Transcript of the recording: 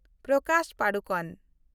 Prakash Padukone